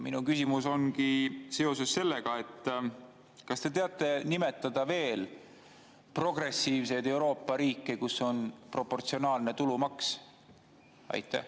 Minu küsimus on selle kohta: kas te teate nimetada veel progressiivseid Euroopa riike, kus on proportsionaalne tulumaks?